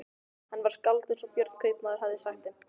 Hann var skáld eins og Björn kaupmaður hafði sagt þeim.